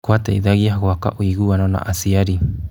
Kũateithagia gwaka ũiguano na aciari.